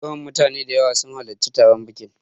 Yau mutane da yawa sun halarci taron biƙin